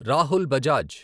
Rahul Bajaj